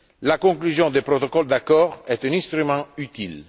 La conclusion des protocoles d'accord est un instrument utile.